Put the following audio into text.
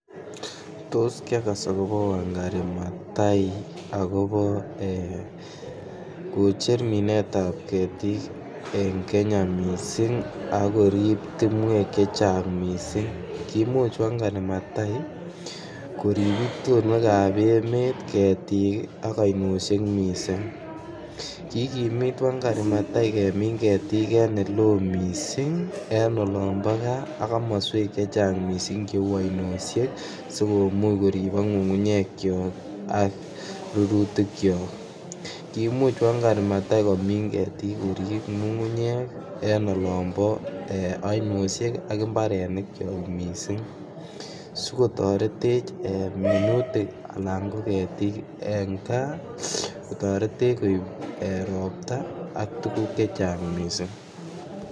Tos kiagas akobo wangari mathai akobo kocher minsetab ketik en Kenya missing ak korib timwek chechang missing. Kimuch wangari mathai korib itonwekab emet ketik ii ak oinoshek missing. Kikimit wangari mathai kemin ketik en ele oo missing en olombo gaa ak komoswek chechang missing che uu oinoshek sikomuch koribok ngungunyekyok ak rurutikyok, kimuch wangari mathai komin ketik korib ngungunyek en olombo gaa ak imbarenikyok missing sikotoretech minutik alan ko ketik en gaa ko toretech koib ropta ak tuguk chechang missing